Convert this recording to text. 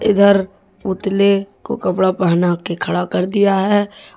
उधर पुतले को कपड़ा पहना के खड़ा कर दिया है।